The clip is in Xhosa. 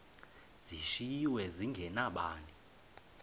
zishiywe zinge nabani